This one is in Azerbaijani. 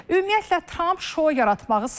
Ümumiyyətlə, Tramp şou yaratmağı sevir.